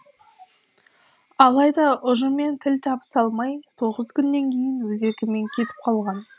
алайда ұжыммен тіл табыса алмай тоғыз күннен кейін өз еркімен кетіп қалған